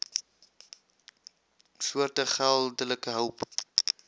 soorte geldelike hulp